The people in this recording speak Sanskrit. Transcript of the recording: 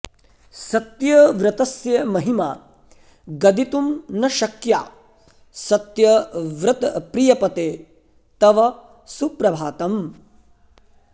सत्यव्रतस्य महिमा गदितुं न शक्या सत्यव्रतप्रियपते तव सुप्रभातम्